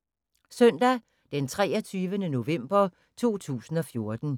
Søndag d. 23. november 2014